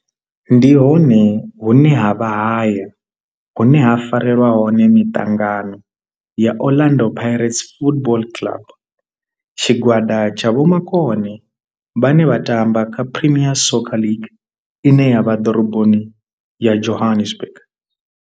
Ndi hone hune havha haya hune ha farelwa hone miṱangano ya Orlando Pirates Football Club. Tshigwada tsha vhomakone vhane vha tamba kha Premier Soccer League ine ya vha ḓoroboni ya Johannesburg.